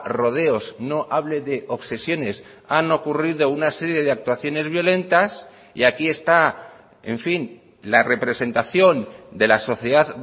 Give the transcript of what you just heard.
rodeos no hable de obsesiones han ocurrido una serie de actuaciones violentas y aquí está en fin la representación de la sociedad